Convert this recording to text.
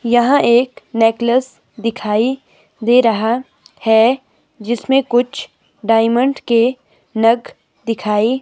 यहां एक नेकलस दिखाई दे रहा है जिसमें कुछ डायमंड के नग दिखाई--